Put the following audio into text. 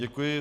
Děkuji.